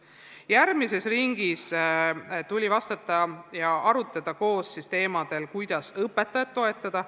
Järgmises ringis tuli vastata ja arutada teemadel, kuidas õpetajat toetada.